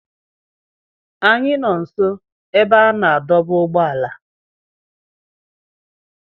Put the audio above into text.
Anyị nọ nso ebe a na-adọba ụgbọala.